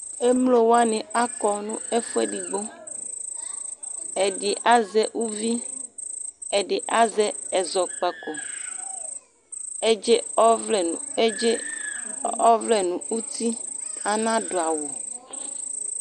Emlowani akɔ nʋ ɛfuɛdigbo Ɛdi azɛ uvi, ɛdi azɛ ɛzɔkpako, Edze ɔvlɛ nʋ edze ɔɔvlɛ nʋ uti, anadʋ awʋ